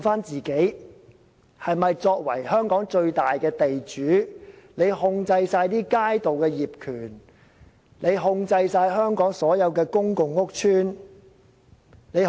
作為香港最大的地主，政府不但控制街道的業權，而且控制全港所有公共屋邨和公園。